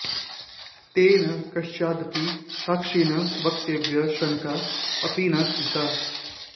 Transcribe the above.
तेन कस्यचिदपि साक्षिणः वक्तव्ये शङ्का अपि न कृता